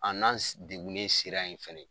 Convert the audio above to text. A n'an degunen sera yen fana.